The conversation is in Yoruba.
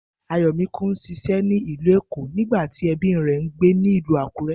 Ayò̩míkún ń s̩is̩é̩ ní ìlú Èkó nígbà tí e̩bí rè̩ ń gbé nílùú Àkúré̩